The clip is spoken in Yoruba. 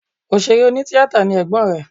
Òṣèré onítíatà ni ẹ̀gbọ́n rẹ̀